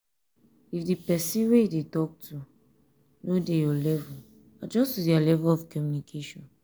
if di person wey you dey talk to no dey your level adjust to their level of communication